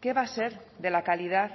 qué va a ser de la calidad